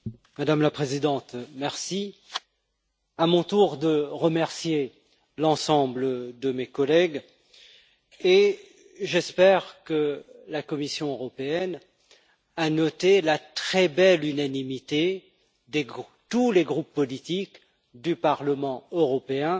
Madame la Présidente, c'est à mon tour de remercier l'ensemble de mes collègues, et j'espère que la Commission européenne a noté la très belle unanimité des groupes, de tous les groupes politiques du Parlement européen